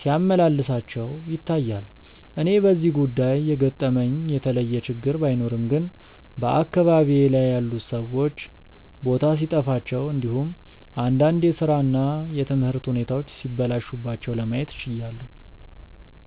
ሲያመላልሳቸው ይታያል። እኔ በዚህ ጉዳይ የገጠመኝ የተለየ ችግር ባይኖርም ግን በአካባቢዬ ላይ ያሉት ሰዎች ቦታ ሲጠፋቸው እንዲሁም እንዳንድ የስራ እና የትምህርት ሁኔታዎች ሲበላሹባቸው ለማየት ችያለው።